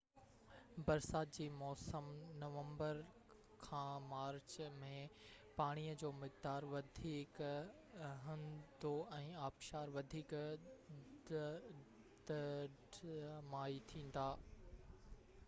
برسات جي موسم نومبر کان مارچ ۾، پاڻيءَ جو مقدار وڌيڪ هوندو ۽ آبشار وڌيڪ ڊرامائي ٿيندا